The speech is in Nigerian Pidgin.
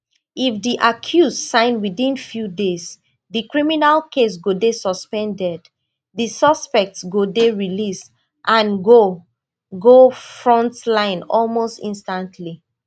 if di accused sign within few days di criminal case go dey suspended di suspect go dey released and go go front line almost instantly